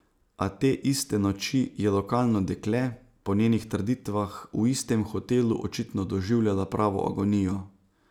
A te iste noči je lokalno dekle, po njenih trditvah, v istem hotelu očitno doživljala pravo agonijo.